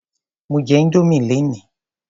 Mo jẹ Indomie lénìí.